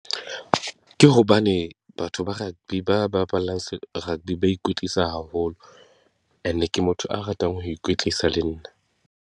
Ke hobane batho ba rugby ba bapalang rugby ba ikwetlisa haholo, and ke motho a ratang ho ikwetlisa le nna.